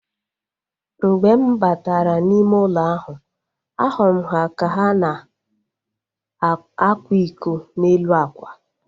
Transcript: Mgbe m batara n'ime ụlọ ahu, a hụrụ m ha ka na-ákwà iko n'elu akwa